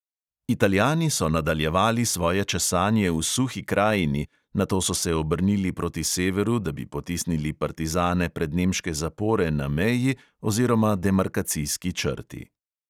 Italijani so nadaljevali svoje česanje v suhi krajini, nato so se obrnili proti severu, da bi potisnili partizane pred nemške zapore na meji oziroma demarkacijski črti.